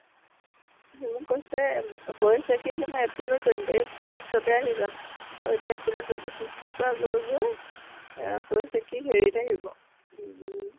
সি মোক কৈছে উম কৈছে কি জানা april ৰ twenty fifth তে আহি যাম। আৰু এতিয়া april ৰ twenty fifth ৰ পৰা গৈ গৈ এয়া কৈছে কি হেৰিত আহিব উম